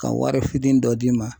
Ka wari fitinin dɔ d'i ma